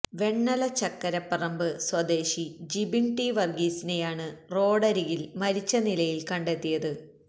വെണ്ണല ചക്കരപ്പറമ്പ് സ്വദേശി ജിബിൻ ടി വർഗ്ഗീസിനെയാണ് റോഡരികിൽ മരിച്ച നിലയിൽ കണ്ടെത്തിയത്